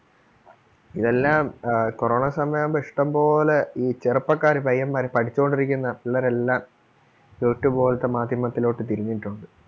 ഇതെല്ലാം ആഹ് corona സമയം ആകുമ്പോ ഇഷ്ടം പോലെ ഈ ചെറുപ്പക്കാര് പയ്യന്മാര് പഠിച്ചോണ്ട് ഇരിക്കുന്ന പിള്ളേരെല്ലാം youtube പോലത്തെ മാധ്യമത്തിലോട്ട് തിരിഞ്ഞിട്ടൊണ്ട്.